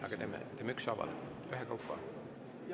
Aga teeme ükshaaval, ühekaupa.